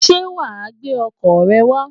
Ṣé wàá gbé ọkọ̀ rẹ wá?